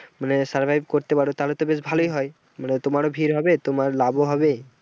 মানে survive করতে পারো তাহলে তো বেশ ভালই হয় মানে তোমারও ভিড় হবে তোমার লাভও হবে।